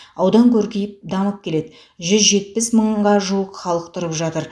аудан көркейіп дамып келеді жүз жетпіс мыңға жуық халық тұрып жатыр